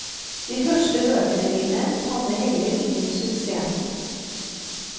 De første bøkene mine hadde heller ingen suksess.